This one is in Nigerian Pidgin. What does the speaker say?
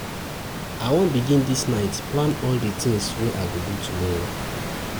I wan begin dis night plan all di tins wey I go do tomorrow.